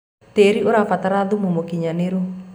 tĩĩri ũrabatara thumu mũũkĩnyanĩru